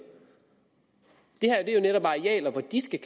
det her er netop arealer hvor de skal